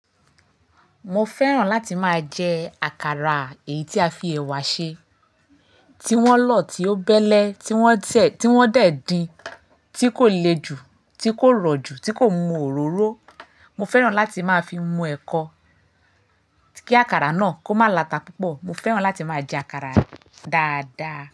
Mo fẹ́ràn láti máa jẹ àkàrà èyí tí a fi ẹ̀wà ṣe, tí wọ́n lọ́tí ó bẹ́lẹ́, tí wọ́n tẹ̀, tí wọ́n dẹ̀ din, tí kò le ju, tí kò rọ̀ ju, tí kò mú òróró. Mo fẹ́ràn láti máa fi mu ẹ̀kọ, kí àkàrà náà kó máa lata púpọ̀. Mo fẹ́ràn láti máa jẹ àkàrà dáadáa.